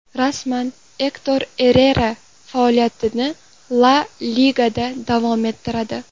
Rasman: Ektor Errera faoliyatini La Ligada davom ettiradi.